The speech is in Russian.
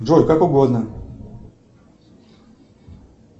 джой как угодно